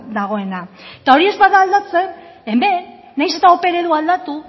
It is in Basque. dagoena eta hori ez bada aldatzen hemen nahiz eta ope eredua aldatu